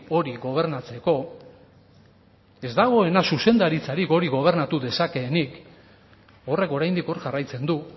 hori gobernatzeko ez dagoena zuzendaritzarik hori gobernatu dezakeenik horrek oraindik hor jarraitzen du